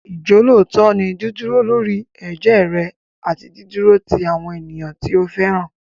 Ìjọ́lóòótọ́ ni dídúró lórí ẹ̀jẹ́ rẹ àti dídúró ti àwọn ènìyàn tí o fẹ́ràn.